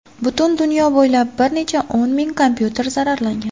Butun dunyo bo‘ylab bir necha o‘n ming kompyuter zararlangan.